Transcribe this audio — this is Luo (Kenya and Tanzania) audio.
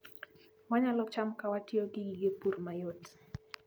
Wanyalo cham ka watiyo gi gige pur mayot